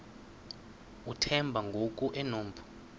uthemba ngoku enompu